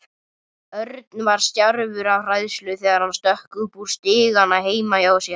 Örn var stjarfur af hræðslu þegar hann stökk upp stigana heima hjá sér.